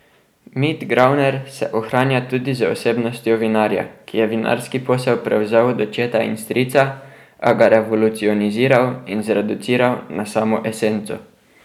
Mit Gravner se ohranja tudi z osebnostjo vinarja, ki je vinarski posel prevzel od očeta in strica, a ga revolucioniziral in zreduciral na samo esenco.